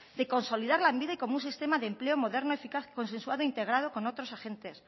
de consolidar lanbide como un sistema de empleo moderno eficaz consensuado integrado con otros agentes